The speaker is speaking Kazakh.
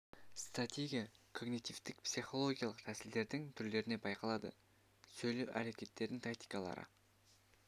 стратегия когнитивтік психологиялық тәсілдердің түрлерінде байқалады сөйлеу әрекеттерінің тактикалары